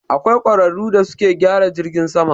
Akwai ƙwararu da suke gyara jirgin sama.